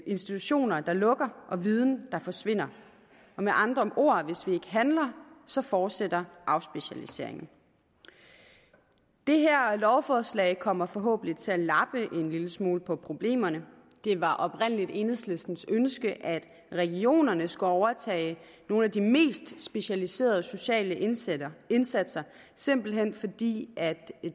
institutioner der lukker og viden der forsvinder med andre ord hvis vi handler så fortsætter afspecialiseringen det her lovforslag kommer forhåbentlig til at lappe en lille smule på problemerne det var oprindelig enhedslistens ønske at regionerne skulle overtage nogle af de mest specialiserede sociale indsatser indsatser simpelt hen fordi